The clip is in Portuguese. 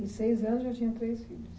Em seis anos já tinha três filhos?